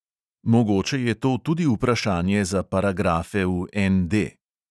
Mogoče je to tudi vprašanje za paragrafe v ND.